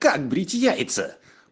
как брить яйца